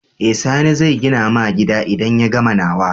Eh sani zai gina ma gida idan ya gama nawa